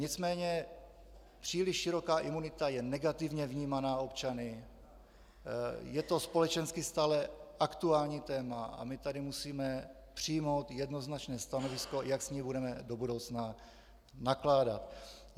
Nicméně příliš široká imunita je negativně vnímána občany, je to společensky stále aktuální téma a my tady musíme přijmout jednoznačné stanovisko, jak s ní budeme do budoucna nakládat.